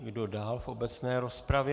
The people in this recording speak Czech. Kdo dál v obecné rozpravě?